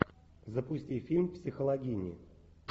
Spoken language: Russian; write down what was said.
запусти фильм психологини